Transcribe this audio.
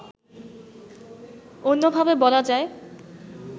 অন্যভাবে বলা যায়